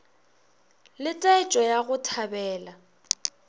le taetšo ya go thabela